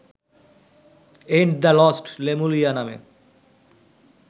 and the lost Lemuria নামে